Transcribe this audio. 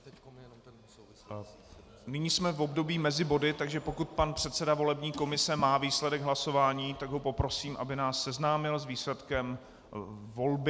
Nyní jsme v období mezi body, takže pokud pan předseda volební komise má výsledek hlasování, tak ho poprosím, aby nás seznámil s výsledkem volby.